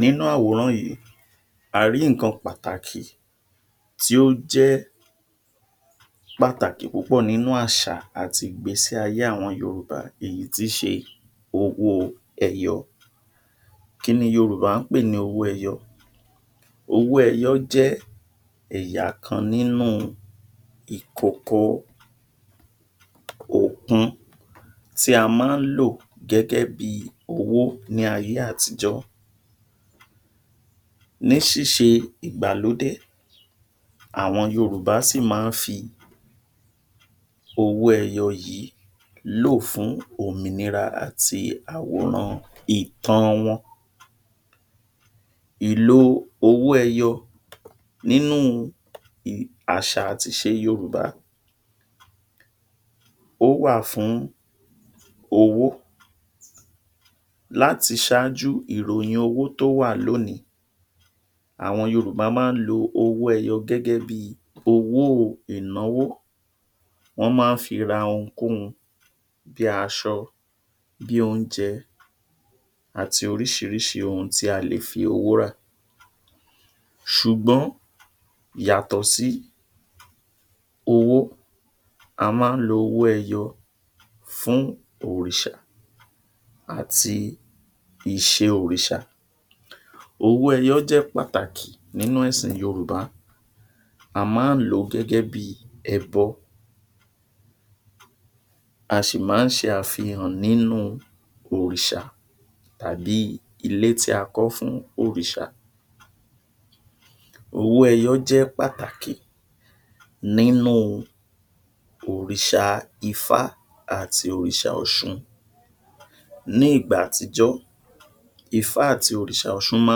Nínú àwòrán yìí a rí ǹkan pàtàkì tí ó jẹ́ pàtàki púpọ̀ nínú àṣà àti ìgbésí ayé àwọn Yorùbá èyí tí í ṣe owó ẹyọ kí ni Yorùbá ń pè ní owó ẹyọ owó ẹyọ owó ẹyọ jẹ́ ẹ̀yà kan nínú ìkòkò òkun tí a má ń lò gẹ́gẹ́ bí owo ní ayé àtijọ́ ní síse ìgbàlódé àwọn Yorùbá ṣì ma ń fi owó ẹyọ yìí lò fún òmìnira àti àwòrán ìtàn wọn ìlo owo ẹyọ nínú àṣà àti ìṣe Yorùbá ó wà fún owó láti ṣaájú ìròyìn owó tó wà lónìí àwọn Yorùbá ma á lo owó ẹyọ gẹ́gẹ́ bíi owó o ìnáwó wọ́n má ń fi ra ohunkóhun bi ́aṣọ bí oúnjẹ àti orisirisi ohun tí a lè fi owó rà ṣùgbón yàtọ̀ sí owó a má ń lo owó ẹyọ fún òrìṣà àti ìṣe òrìṣà owó ẹyọ jẹ́ pàtàkì nínú ẹ̀sìn yorùbá a má ń lò ó gẹ́gẹ́ bí ẹbọ a sì ma ń ṣe àfihàn nínú òrìṣà tàbí ilé tí a kọ́ fún òrìṣà owó ẹyọ jẹ́ pàtàkì nínu òrìṣà ifá àti òrìṣà ọ̀ṣun ní ìgbà àtijọ́ ifá àti òrìṣà òsun ma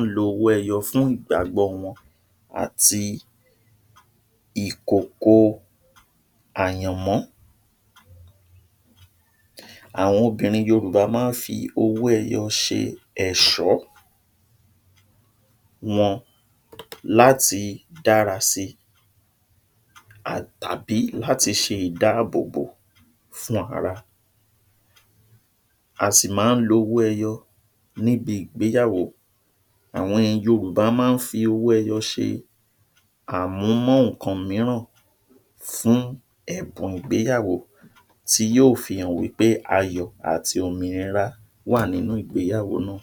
ń lo owó ẹyọ fún ìgbàgbọ́ wọn àti ìkòkò o àyànmọ́ àwọn obìnrin Yorùbá ma ń fi owó ẹyọ ṣe ẹ̀ṣọ́ wọn láti dára sí tàbí láti ṣe ìdáàbòbò fún ara asì ma ń lo owó ẹyọ níbi ìgbéyàwó àwọn Yorùbá ma ń fí owó ẹyọ ṣe à mú mọ́ ńkan mìíràn fún ẹ̀bùn ìgbéyàwó ti yí o fi hàn wípé ayọ̀ àti òmìnira wà nínú ìgbéyàwó náà